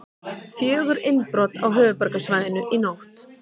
Fjögur innbrot á höfuðborgarsvæðinu í nótt